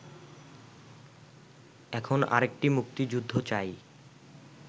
এখন আরেকটি মুক্তিযুদ্ধ চাই